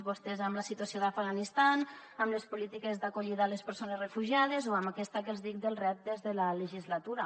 vostès amb la situació d’afganistan amb les polítiques d’acollida a les persones refugiades o amb aquesta que els dic dels reptes de la legislatura